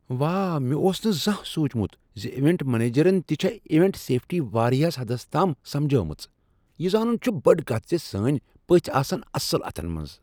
واہ، مےٚ اوس نہٕ زانہہ سونچمت ز ایونٹ منیجرن تہ چھےٚ ایونٹ سیفٹی واریاہ حدس تام سمبھاجمٕژ۔ یہ زانن چھ بٔڈ کتھ ز سٲنۍ پٔژھۍ آسن اصٕل اتھن منٛز۔